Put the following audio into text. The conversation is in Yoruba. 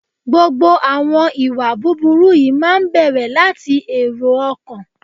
Gbogbo àwọn ìwà búburú yìí máa ń bẹ̀rẹ̀ láti èrò ọkàn.